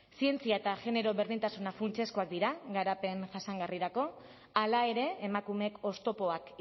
zientzia eta genero berdintasuna funtsezkoak dira garapen jasangarrirako hala ere emakumeek oztopoak